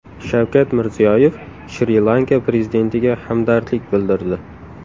Shavkat Mirziyoyev Shri-Lanka prezidentiga hamdardlik bildirdi.